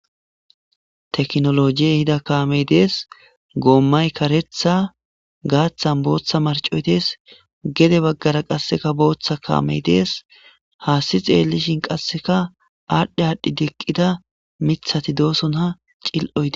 Teknolojiyey hida kaamey dees goommay karetha gaaththan booththa marcoy dees gede baggara qasseka booththa kaamey dees haasti xeellishin qasseka aadhdhe aadhdhi deqqida mithati doosonha cil'oyhde.